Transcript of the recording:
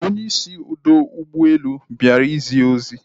Onye isi ọdọ ụgbọelu bịara zie ozi